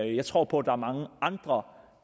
jeg tror på at der er mange andre